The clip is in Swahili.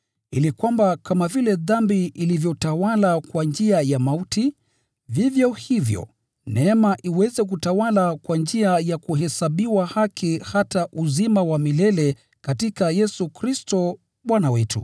ili kwamba kama vile dhambi ilivyotawala kwa njia ya mauti, vivyo hivyo neema iweze kutawala kwa njia ya kuhesabiwa haki hata kuleta uzima wa milele katika Yesu Kristo Bwana wetu.